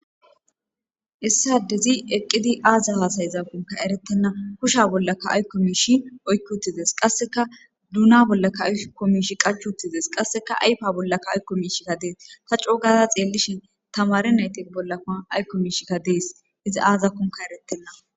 Issadezi eqqidi aaza haasayzakonka erettenna husha bollaka aykko miishi oykki utides qasseka duuna bollaka ayko miishi qachutides qasseka ayfa bollaka aykko miishikka dees ta coogaza xeellishin tamare nayte bollakoa aykko miishikka dees izi aazakonka eretenna.